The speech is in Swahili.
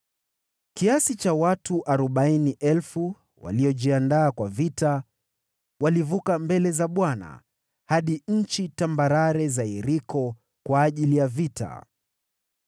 Kiasi cha watu 40,000 waliojiandaa kwa vita walivuka mbele za Bwana hadi nchi tambarare za Yeriko kwa ajili ya vita.